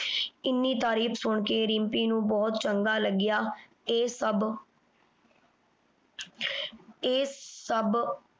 ਏਨੀ ਤਾਰੀਫ਼ ਸੁਨ ਕੇ ਰਿਮ੍ਪੀ ਨੂ ਬੋਹਤ ਚੰਗਾ ਲਗਿਆ। ਏ ਸਬ ਏ ਸਬ